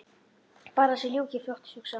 Bara að þessu ljúki fljótt hugsaði hún.